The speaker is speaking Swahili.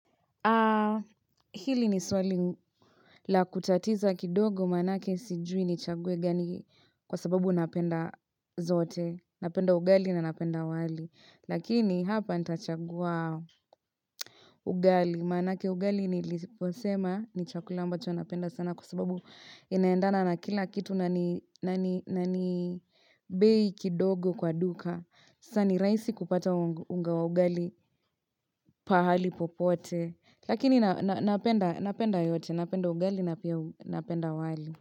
Hili ni swali la kutatiza kidogo maanake sijui nichague gani kwa sababu ninapenda zote napenda ugali na ninapenda wali lakini hapa intachagua ugali maanake ugali niliposema ni chakula ambacho ninapenda sana kwa sababu inaendana na kila kitu nani nani nani bei kidogo kwa duka sasa ni rahisi kupata unga wa ugali pahali popote lakini ninapenda yote ninapenda ugali na pia ninapenda wali.